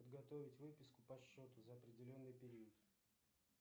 подготовить выписку по счету за определенный период